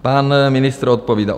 Pan ministr odpovídá.